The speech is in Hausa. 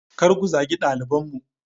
Kar ku zagi dalibanmu!